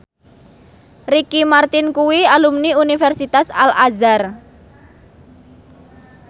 Ricky Martin kuwi alumni Universitas Al Azhar